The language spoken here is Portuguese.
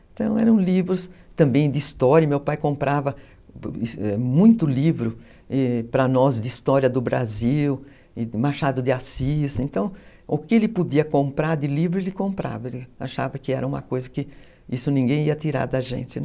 Então eram livros também de história, meu pai comprava muito livro para nós de história do Brasil, Machado de Assis, então o que ele podia comprar de livro ele comprava, ele achava que era uma coisa que isso ninguém ia tirar da gente, né?